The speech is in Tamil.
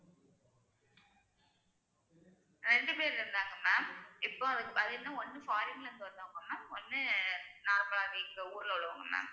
ரெண்டு பேர் இருந்தாங்க ma'am இப்போ பாத்தீங்கன்னா ஒண்ணு foreign ல இருந்து வந்தவங்க ma'am ஒண்ணு normal ஆ இங்க ஊர்ல உள்ளவங்க ma'am